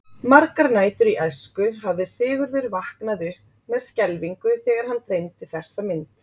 Margar nætur í æsku hafði Sigurður vaknað upp með skelfingu þegar hann dreymdi þessa mynd.